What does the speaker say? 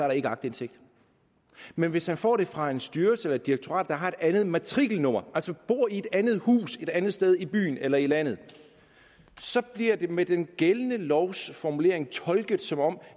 der ikke aktindsigt men hvis han får det fra en styrelse eller et direktorat der har et andet matrikelnummer altså bor i et andet hus et andet sted i byen eller i landet så bliver det med den gældende lovs formulering tolket som om